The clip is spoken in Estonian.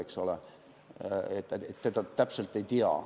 Eks ole, seda täpselt ei tea.